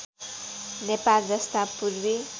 नेपाल जस्ता पूर्वी